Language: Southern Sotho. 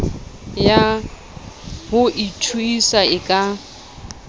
ya ho ithuisa e ka